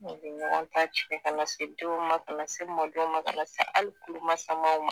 Mɔgɔ ɲɔgɔn ka cɛn ka se denw ma ka na se mɔdenw ma ka na se hali tulomasamamaw